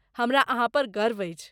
हमरा अहाँ पर गर्व अछि।